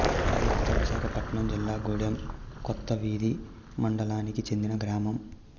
కొండజర్త విశాఖపట్నం జిల్లా గూడెం కొత్తవీధి మండలానికి చెందిన గ్రామం